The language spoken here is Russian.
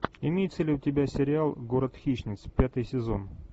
имеется ли у тебя сериал город хищниц пятый сезон